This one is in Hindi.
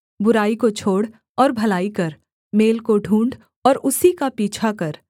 बुराई को छोड़ और भलाई कर मेल को ढूँढ़ और उसी का पीछा कर